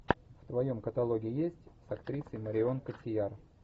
в твоем каталоге есть с актрисой марион котийяр